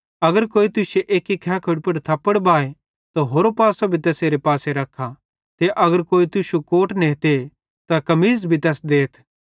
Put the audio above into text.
अगर कोई तुश्शे खैखोड़ी पुड़ एक्की पासे थप्पड़ बाहे ते होरो पासो भी तैसेरे पासे रखा ते अगर कोई तुश्शू कोट नेते त कमीज़ भी तैस देथ